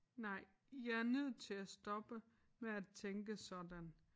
Nej jeg er nødt til at stoppe med at tænke sådan